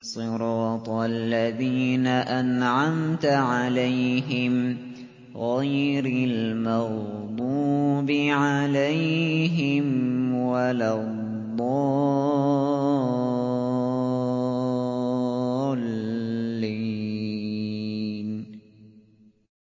صِرَاطَ الَّذِينَ أَنْعَمْتَ عَلَيْهِمْ غَيْرِ الْمَغْضُوبِ عَلَيْهِمْ وَلَا الضَّالِّينَ